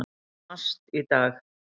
MAST í dag.